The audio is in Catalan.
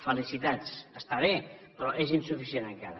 felicitats està bé però és insuficient encara